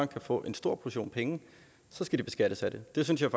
kan få en stor portion penge skal de beskattes af det det synes jeg